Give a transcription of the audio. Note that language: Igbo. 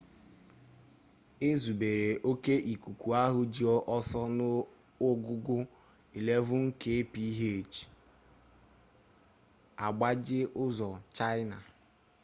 ezubere oke ikuku ahụ ji ọsọ n'ogugo 11kph agbaje ụzọ chaịna